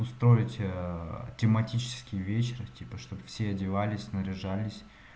устроить аа тематический вечер типа чтобы все одевались наряжались